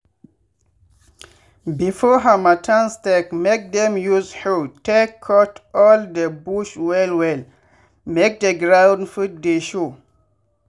before harmattan start make dem use hoe take cut all de bush well well make de ground fit dey show.